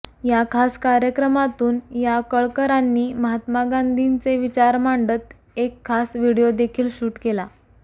या खास कार्यक्रमातून या कळकरांनी महात्मा गांधींचे विचार मांडत एक खास व्हिडीओ देखील शूट केला